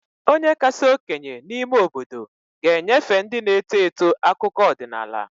Onye kasị okenye n'ime obodo ga-enyefe ndị na-eto eto akụkọ ọdịnala